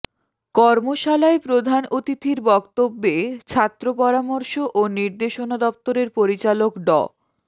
কর্মশালায় প্রধান অতিথির বক্তব্যে ছাত্র পরামর্শ ও নির্দেশনা দপ্তরের পরিচালক ড